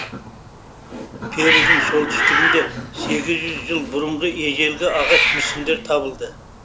перудің солтүстігінде сегіз жүз жыл бұрынғы ежелгі ағаш мүсіндер табылды